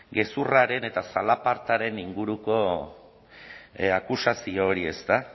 gezurraren eta zalapartaren inguruko akusazio hori ezta